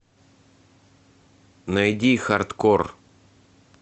найди хардкор